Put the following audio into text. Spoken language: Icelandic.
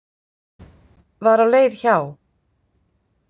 Var á leið hjá.